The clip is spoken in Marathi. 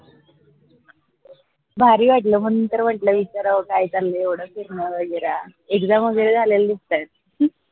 भारी वाटल म्हनून तर म्हंटल विचाराव काय चाललंय? एवढं फिरन वगैरा exam वगैरे झालेले दिसतायत